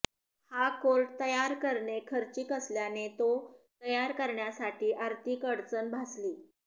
हा कोर्ट तयार करणे खर्चिक असल्याने तो तयार करण्यासाठी अार्थिक अडचण भासली